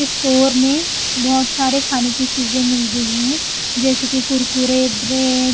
store मे बहुत सारे खाने की चीजें मिल रही हैं जैसे कि कुरकुरे ब्रेड --